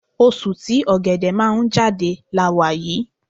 Oṣù tí Ọ̀gẹ̀dẹ̀ máa ń jáde la wà yí.